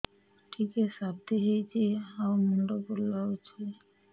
ଟିକିଏ ସର୍ଦ୍ଦି ହେଇଚି ଆଉ ମୁଣ୍ଡ ବୁଲାଉଛି